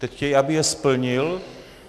Teď chtějí, aby je splnil.